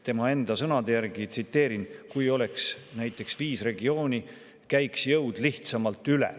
Tema enda sõnad, tsiteerin: "Kui oleks viis regiooni, käiks jõud lihtsamalt üle.